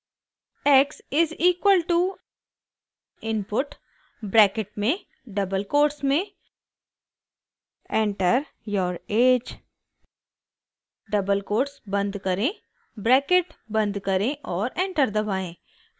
x is equal to input bracket में double quotes में enter your age double quotes बंद करें bracket बंद करें और एंटर दबाएं